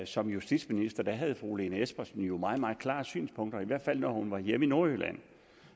som justitsminister havde fru lene espersen jo meget meget klare synspunkter i hvert fald når hun var hjemme i nordjylland